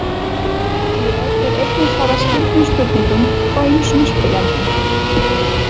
Hér er einnig svarað skyldum spurningum frá ýmsum spyrjendum.